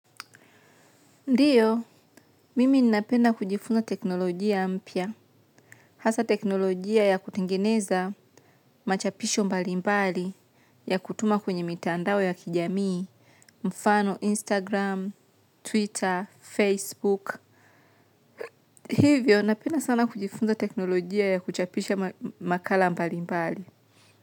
Ndiyo, mimi ninapenda kujifunza teknolojia mpya. Hasa teknolojia ya kutengeneza machapisho mbali mbali ya kutuma kwenye mitandao ya kijamii, mfano Instagram, Twitter, Facebook. Hivyo, napenda sana kujifunza teknolojia ya kuchapisha makala mbali mbali.